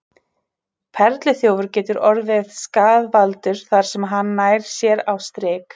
Perluþjófur getur orðið skaðvaldur þar sem hann nær sér á strik.